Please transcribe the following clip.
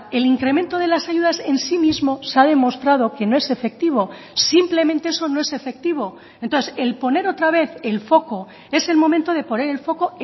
el incremento de las ayudas en sí mismo se ha demostrado que no es efectivo simplemente eso no es efectivo entonces el poner otra vez el foco es el momento de poner el foco